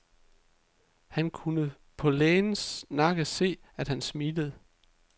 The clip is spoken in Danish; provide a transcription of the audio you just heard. Han kunne på lægens nakke se, at han smilede.